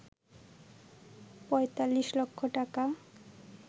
৪৫ লক্ষ টাকা